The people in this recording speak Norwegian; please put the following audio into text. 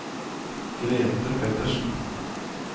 Grethe Pettersen